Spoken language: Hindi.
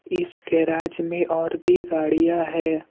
इस गैराज में और भी गाड़ियां है।